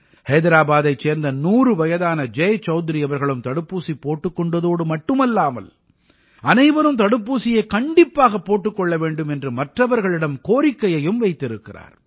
ஹைதராபாதைச் சேர்ந்த 100 வயதான ஜெய் சௌத்ரி அவர்களும் தடுப்பூசி போட்டுக் கொண்டதோடு மட்டுமல்லாமல் அனைவரும் தடுப்பூசியைக் கண்டிப்பாகப் போட்டுக் கொள்ள வேண்டும் என்று மற்றவர்களிடம் கோரிக்கையையும் விடுத்திருக்கிறார்